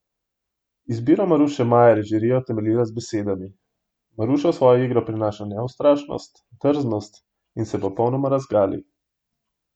Izbiro Maruše Majer je žirija utemeljila z besedami: 'Maruša v svojo igro prinaša neustrašnost, drznost in se popolnoma razgali.